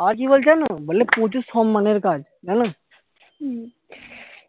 আবার কি বলছে জানো বলে প্রচুর সম্মানের কাজ জানো